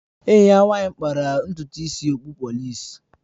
Enyi ya nwanyị kpara ntutu isi okpụ polịs